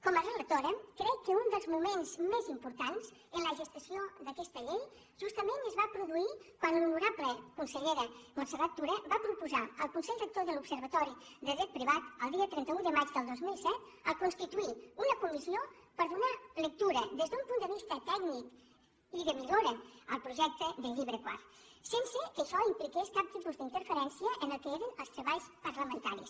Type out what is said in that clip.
com a relatora crec que un dels moments més importants en la gestació d’aquesta llei justament es va produir quan l’honorable consellera montserrat tura va proposar al consell rector de l’observatori de dret privat el dia trenta un de maig del dos mil set a constituir una comissió per donar lectura des d’un punt de vista tècnic i de millora al projecte del llibre quart sense que això impliqués cap tipus d’interferència en el que eren els treballs parlamentaris